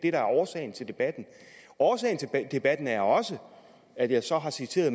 er årsagen til debatten årsagen til debatten er også at jeg så har citeret